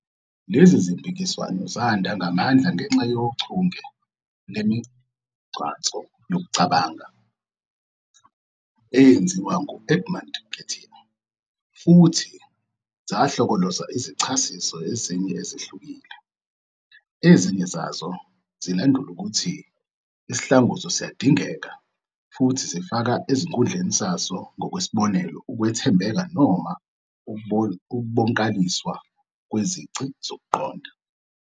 Lezi zimpikiswano zanda ngamandla ngenxa yochunge lwemigcanso yokucabanga eyenziwa nguEdmund Gettier futhi zahlokoloza izichasiso ezinye ezihlukile. Ezinye zazo zilandula ukuthi isihlanguzo siyindingeko futhi zifaka ezikhundleni saso, ngokwesibonelo, ukwethembeka noma ukubonkaliswa kwezici zokuqonda.